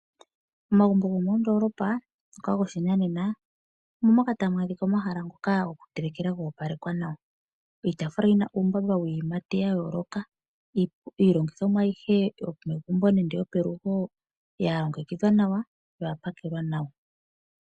Omagumbo gomondoolopa ngoka gopashinanena omomoka tamu adhika omahala ngoka gokutelekela goopalekwa nawa, iitaafula yina uumbamba wiiyimati yayooloka, iilongithomwa ayihe yomegumbo nenge yopelugo yalongekidhwa nawa na oyapakelwa nawa.